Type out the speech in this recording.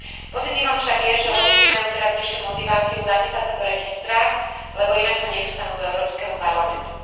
Pozitívne však je, že lobisti majú teraz vyššiu motiváciu zapísať sa do registra, lebo inak sa nedostanú do Európskeho parlamentu.